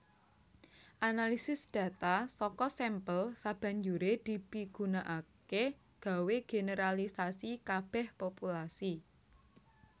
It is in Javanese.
Analisis data saka sampel sabanjuré dipigunakaké gawé generalisasi kabèh populasi